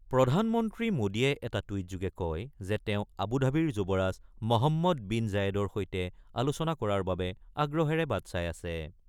প্ৰধানমন্ত্ৰী মোদীয়ে এটা টুইটযোগে কয় যে তেওঁ আবুধাবিৰ যুৱৰাজ মহম্মদ বিন জায়েদৰ সৈতে আলোচনা কৰাৰ বাবে আগ্ৰহেৰে বাট চাই আছে।